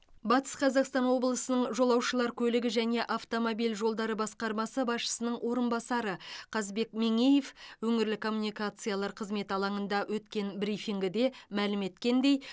батыс қазақстан облысының жолаушылар көлігі және автомобиль жолдары басқармасы басшысының орынбасары қазбек меңеев өңірлік коммуникациялар қызметі алаңында өткен брифингіде мәлім еткендей